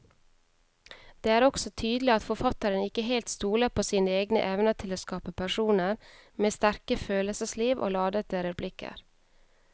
Det er også tydelig at forfatteren ikke helt stoler på sine egne evner til å skape personer med sterke følelsesliv og ladete replikker.